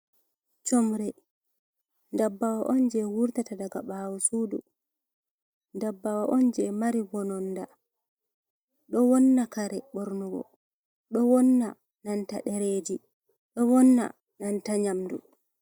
Sumre ,ndabbawo on je wurtata daga ɓawo sudu, dabbawo on je mari bononda Ɗo wonna kare ɓornugo ɗo wonna nanta ɗereji ɗo wonna nanta nyamdu.